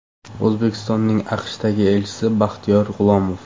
O‘zbekistonning AQShdagi elchisi Baxtiyor G‘ulomov.